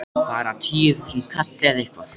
Bara, tíu þúsund kall eða eitthvað.